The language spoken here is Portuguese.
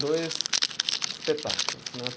Dois espetáculos, né?